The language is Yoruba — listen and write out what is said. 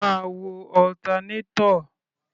Máa wo alternator.